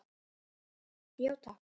Já takk.